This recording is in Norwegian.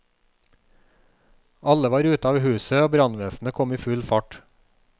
Alle var ute av huset og brannvesenet kom i full fart.